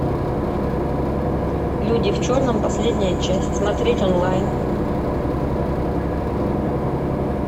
люди в черном последняя часть смотреть онлайн